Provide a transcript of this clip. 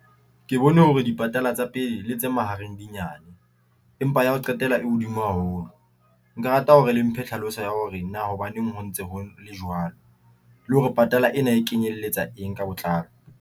Ke bone hore dipatala tsa pele le tse mahareng dinyane empa ya ho qetela e hodimo haholo. Nka rata hore le mphe tlhaloso ya hore na hobaneng ho ntse ho le jwalo, le hore patala ena e kenyelletsa eng ka botlalo.